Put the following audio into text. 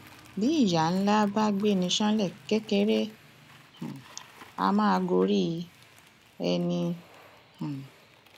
bí ìyá ńlá bá gbé ní ṣánlẹ kékeré um a máa gorí ẹni um